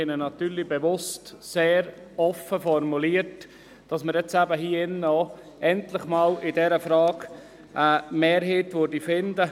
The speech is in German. Diesen haben wir natürlich bewusst sehr offen formuliert, damit wir hier drin in dieser Frage endlich eine Mehrheit finden.